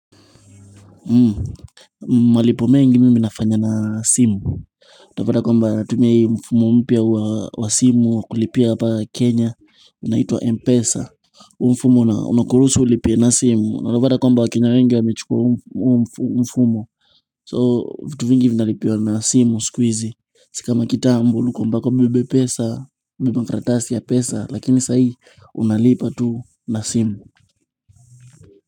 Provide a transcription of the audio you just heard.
Mmmh, malipo mengi mimi nafanya na simu Tapata kwamba natuia mfumo mpya wa simu kulipia hapa kenya unaitwa Mpesa huu mfumo unakuruhusu ulipie na simu na unapata kwamba wa kenya wengi wamechukua mfumo So vitu vingi vinalipiwa na simu siku hizi Si kama kitambo ulikua mpaka ubebe pesa ubebe makarakatasi ya pesa, lakini saa hii unalipa tu na simu.